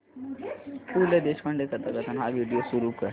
पु ल देशपांडे कथाकथन हा व्हिडिओ सुरू कर